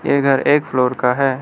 ये घर एक फ्लोर का है।